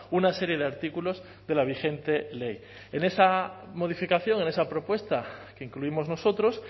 una serie de artículos de la vigente ley en esa modificación en esa propuesta que incluimos nosotros